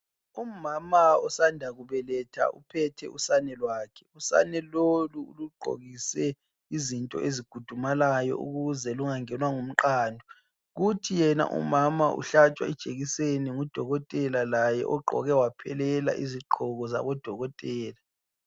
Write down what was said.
Umama osanda kubeletha uphethe usane lwakhe. Usane lolu ulugqokise izinto ezikhudumalayo ukuze lungangenwa ngumqando. Kuthi yena umama uhlatshwa ijekiseni ngudokotela laye ogqoke waphelela izigqoko zabodokotela.